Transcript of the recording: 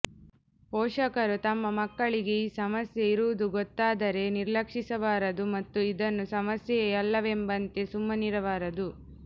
ಪೋಷಕರು ತಮ್ಮ ಮಕ್ಕಳಿಗೆ ಈ ಸಮಸ್ಯೆ ಇರುವುದು ಗೊತ್ತಾದರೆ ನಿರ್ಲಕ್ಷಿಸಬಾರದು ಮತ್ತು ಇದನ್ನು ಸಮಸ್ಯೆಯೇ ಅಲ್ಲವೆಂಬಂತೆ ಸುಮ್ಮನಿರಬಾರದು